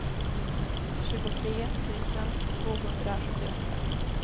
tjugotre tusen tvåhundrasjuttioåtta